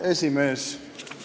Hea esimees!